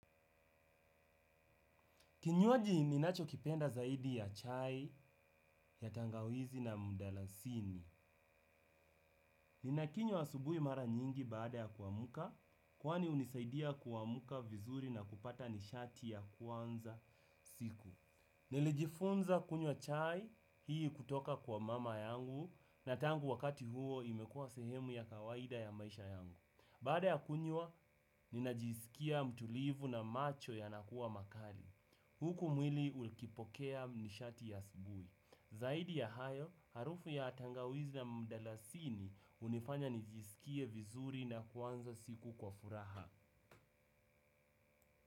Kinywaji ninachokipenda zaidi ya chai ya tangawizi na mdalasini. Ninakinywa asubuhi mara nyingi baada ya kuamka kwani hunisaidia kuamka vizuri na kupata nishati ya kuanza siku. Nilijifunza kunywa chai hii kutoka kwa mama yangu, na tangu wakati huo imekuwa sehemu ya kawaida ya maisha yangu. Baada ya kunywa, ninajisikia mtulivu na macho yanakuwa makali. Huku mwili ukipokea nishati ya asubuhi. Zaidi ya hayo, harufu ya tangawizi na mdalasini hunifanya nijisikie vizuri na kuanza siku kwa furaha.